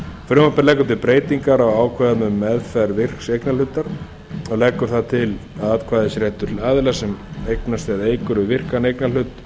frumvarpið leggur til breytingar á ákvæðum um meðferð virks eignarhlutar leggur það til að atkvæðisréttur aðila sem eignast eða eykur við virkan eignarhlut